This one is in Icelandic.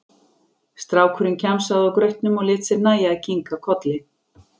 Strákurinn kjamsaði á grautnum og lét sér nægja að kinka kolli.